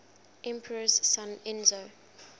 emperor's son enzo